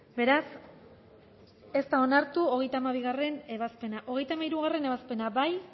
beraz ez da onartu hogeita hamabigarrena ebazpena hogeita hamairugarrena ebazpena